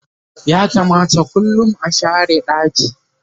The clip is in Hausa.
ya kamata kullum a share ɗaki